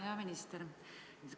Hea minister!